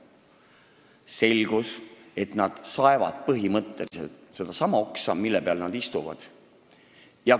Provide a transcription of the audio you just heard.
Selgus, et nad põhimõtteliselt saevad sedasama oksa, mille peal nad istuvad.